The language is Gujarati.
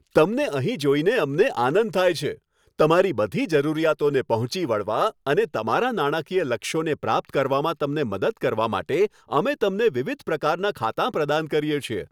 તમને અહીં જોઈને અમને આનંદ થાય છે. તમારી બધી જરૂરિયાતોને પહોંચી વળવા અને તમારા નાણાકીય લક્ષ્યોને પ્રાપ્ત કરવામાં તમને મદદ કરવા માટે, અમે તમને વિવિધ પ્રકારનાં ખાતાં પ્રદાન કરીએ છીએ.